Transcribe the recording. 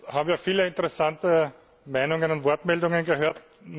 Jetzt haben wir viele interessante Meinungen und Wortmeldungen gehört.